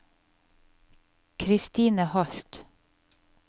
Christine Holth